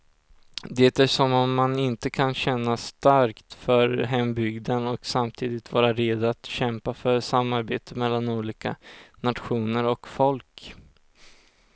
Det är som om man inte kan känna starkt för hembygden och samtidigt vara redo att kämpa för samarbete mellan olika nationer och folk.